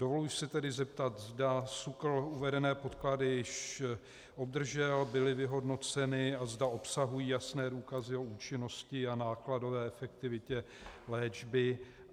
Dovoluji si tedy zeptat, zda SÚKL uvedené podklady již obdržel, byly vyhodnoceny a zda obsahují jasné důkazy o účinnosti a nákladové efektivitě léčby.